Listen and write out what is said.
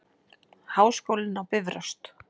Háskólinn á Bifröst.